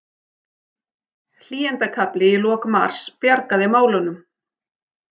Hlýindakafli í lok mars bjargaði málunum